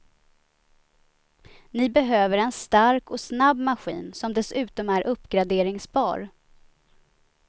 Ni behöver en stark och snabb maskin som dessutom är uppgraderingsbar.